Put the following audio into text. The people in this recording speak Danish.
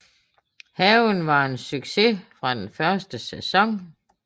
Haven var en success fra den første sæson